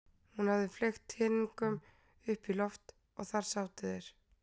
Hún hafði fleygt teningunum upp í loft og þar sátu þeir.